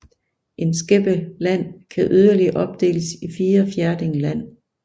En skæppe land kan yderligere opdeles i fire fjerding land